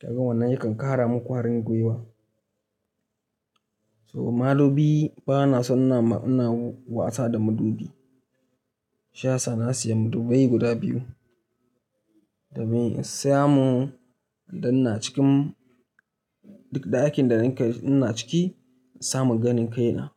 Kagan wannan yakan ƙara mun ƙwarangwiwa. So madubi bana son na, ina wasa da madubi. Shi yasa na siya madubai guda biyu, domin in samu idan ina cikin dakin da nake ina ciki, na samu ganin kaina.